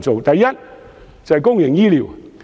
第一，是公營醫療問題。